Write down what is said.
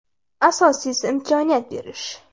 Asosiysi imkoniyat berish.